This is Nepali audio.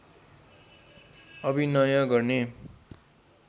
अभिनय गर्ने